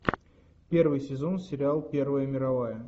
первый сезон сериал первая мировая